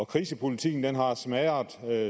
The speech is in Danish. krisepolitikken har smadret